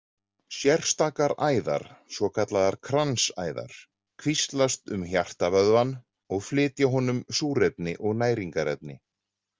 Sérstakar æðar, svokallaðar kransæðar, kvíslast um hjartavöðvann og flytja honum súrefni og næringarefni.